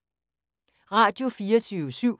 Radio24syv